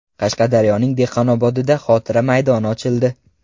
Qashqadaryoning Dehqonobodida xotira maydoni ochildi .